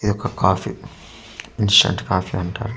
ఇది ఒక coffee instant coffee అంటారు.